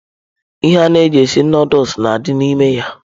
Ihe ana eji esi nudulu na adị n'ime ya.